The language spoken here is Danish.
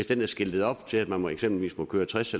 den er skiltet op til at man eksempelvis må køre tres